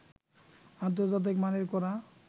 আন্তর্জাতিক মানের করা